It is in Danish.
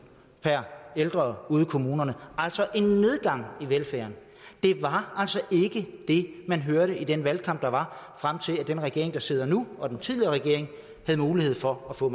per ældre ude i kommunerne altså en nedgang i velfærden det var altså ikke det man hørte i den valgkamp der var frem til at den regering der sidder nu fik mulighed for at få